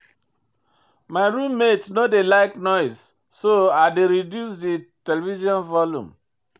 My room mate no dey like noise so I dey reduce di television volume.